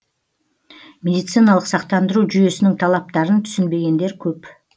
медициналық сақтандыру жүйесінің талаптарын түсінбегендер көп